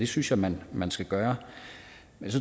synes jeg man man skal gøre